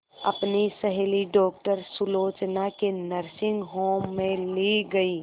अपनी सहेली डॉक्टर सुलोचना के नर्सिंग होम में ली गई